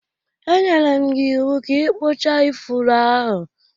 E nyere m gị iwu ka ị ikpucha ifuru ahụ!